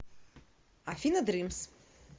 афина дримс